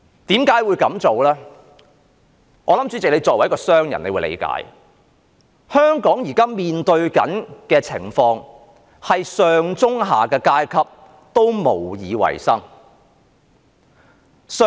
主席，我相信你作為一名商人也會理解，香港現時面對的情況，就是上、中、下的階級也無以為生。